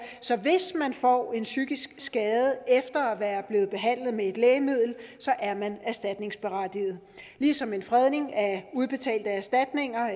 så hvis man får en psykisk skade efter at være blevet behandlet med et lægemiddel er man erstatningsberettiget ligesom en fredning af udbetalte erstatninger